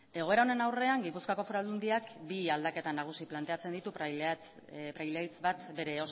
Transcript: egoera honen aurrean gipuzkoako foru aldundiak bi aldaketa nagusi planteatzen ditu praileaitz batgarren bere